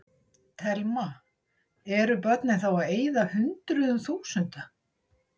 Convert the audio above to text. Telma: Eru börnin þá að eyða hundruðum þúsunda?